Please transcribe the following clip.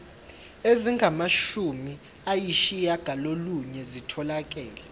ezingamashumi ayishiyagalolunye zitholakele